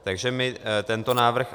Takže my tento návrh